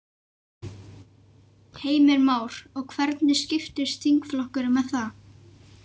Heimir Már: Og hvernig skiptist þingflokkurinn með það?